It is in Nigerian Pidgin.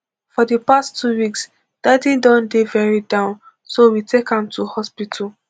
for di past two weeks daddy don dey very down so we take am to hospital